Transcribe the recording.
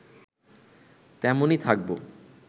তেমনই থাকবো